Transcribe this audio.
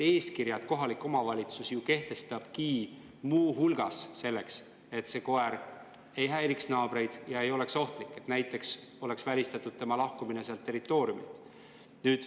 Eeskirjad kohalik omavalitsus kehtestabki muu hulgas ka selleks, et koerad ei häiriks naabreid ja ei oleks ohtlikud, et oleks välistatud nende lahkumine oma territooriumilt.